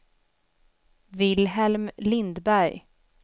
Wilhelm Lindberg